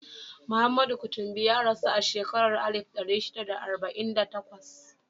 Muhammadu Kutumbi ya rasu a shekarar alif ɗari shida da arba'in da takwas.